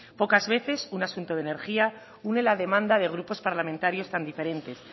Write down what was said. pocas veces un asunto de energía une la demanda de grupos parlamentarios tan diferentes